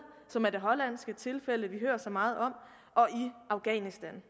som er det hollandske tilfælde vi hører så meget om og i afghanistan